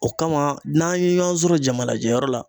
O kama n'an ye ɲɔgɔn sɔrɔ jama najɛ yɔrɔ la